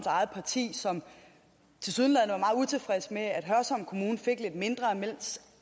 eget parti som tilsyneladende var utilfreds med at hørsholm kommune fik lidt mindre mens